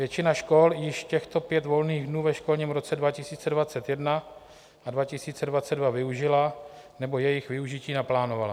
Většina škol již těchto pět volných dnů ve školním roce 2021 a 2022 využila nebo jejich využití naplánovala.